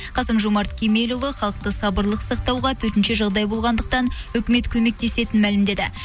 қасым жомарт кемелұлы халықты сабырлық сақтауға төтенше жағдай болғандықтан үкімет көмектесетінін мәлімдеді